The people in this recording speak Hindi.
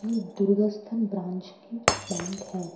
ये दुर्गास्तान ब्रांच की बैंक हैं --